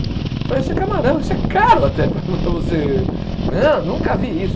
Eu falei, isso é camarão, isso é caro até para você... Não, nunca vi isso.